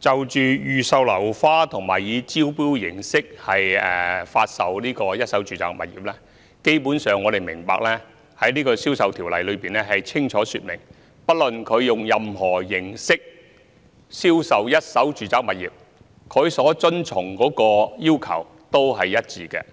就預售樓花和以招標方式發售一手住宅物業，基本上，我們明白《條例》清楚說明，不論以任何形式銷售一手住宅物業，須遵循的要求都是一致的，